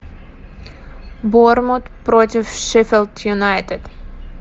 борнмут против шеффилд юнайтед